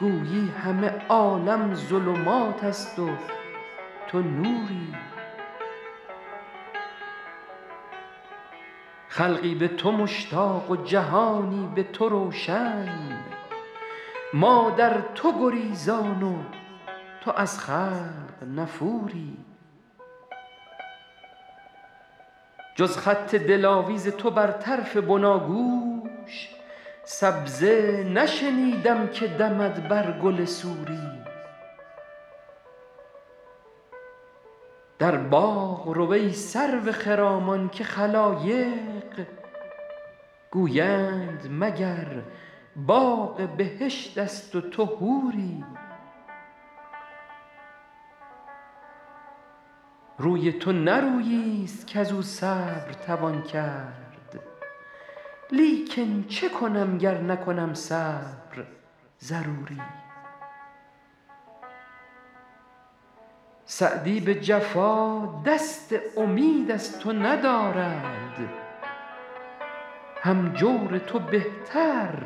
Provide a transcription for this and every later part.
گویی همه عالم ظلمات است و تو نوری خلقی به تو مشتاق و جهانی به تو روشن ما در تو گریزان و تو از خلق نفوری جز خط دلاویز تو بر طرف بناگوش سبزه نشنیدم که دمد بر گل سوری در باغ رو ای سرو خرامان که خلایق گویند مگر باغ بهشت است و تو حوری روی تو نه روییست کز او صبر توان کرد لیکن چه کنم گر نکنم صبر ضروری سعدی به جفا دست امید از تو ندارد هم جور تو بهتر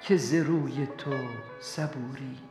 که ز روی تو صبوری